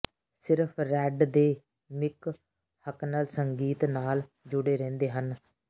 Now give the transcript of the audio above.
ਸਿਰਫ਼ ਰੈੱਡ ਦੇ ਮਿਕ ਹਕਨਲ ਸੰਗੀਤ ਨਾਲ ਜੁੜੇ ਰਹਿੰਦੇ ਹਨ